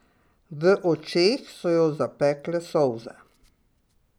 V očeh so jo zapekle solze.